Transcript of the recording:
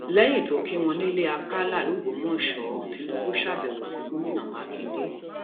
lẹyìn um tó kí wọn nílẹ àkàlà lọgbọmọsẹ tìǹbù ṣàbẹwò sí gómìnà mákindè um